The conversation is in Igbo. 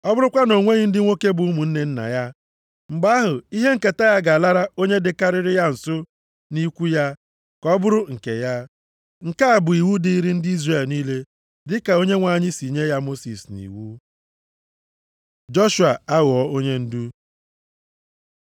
Ọ bụrụkwa na o nweghị ndị nwoke bụ ụmụnne nna ya, mgbe ahụ ihe nketa ya ga-alara onye dịkarịrị ya nso nʼikwu ya, ka ọ bụrụ nke ya. Nke a bụ iwu dịrị ndị Izrel niile dịka Onyenwe anyị si nye ya Mosis nʼiwu.’ ” Joshua aghọọ onyendu